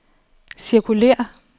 cirkulér